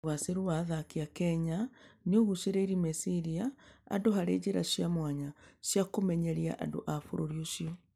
Ũgaacĩru wa athaki a Kenya nĩ ũgucĩrĩirie meciria andũ harĩ njĩra cia mwanya cia kũmenyeria andũ a bũrũri ũcio.